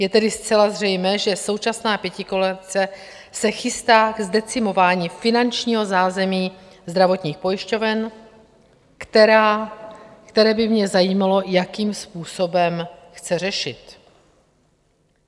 Je tedy zcela zřejmé, že současná pětikoalice se chystá ke zdecimování finančního zázemí zdravotních pojišťoven, které by mě zajímalo, jakým způsobem chce řešit.